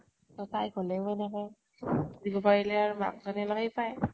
তʼ তাই কলেও এনেকে । দিব পাৰিলে আৰু মাক জ্নীয়ে অলপ সেই পাই ।